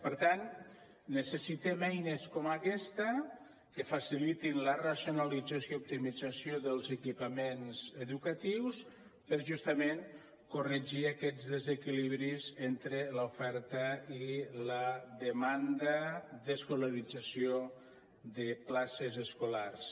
per tant necessitem eines com aquesta que facilitin la racionalització i optimització dels equipaments educatius per justament corregir aquests desequilibris entre l’oferta i la demanda d’escolarització de places escolars